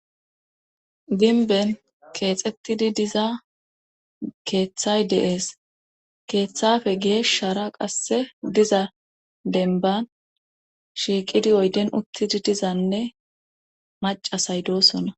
Ginben keexettidi diza keeththay deees keeththafe geeshshara qasse diza denban shiiqidi oyden uttidi dizanne macasay doosona